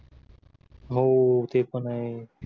हो ते पण आहे